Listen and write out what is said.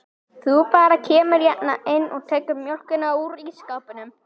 Þú bara kemur hérna inn og tekur mjólkina úr ísskápnum.